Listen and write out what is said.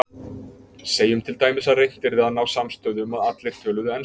Segjum til dæmis að reynt yrði að ná samstöðu um að allir töluðu ensku.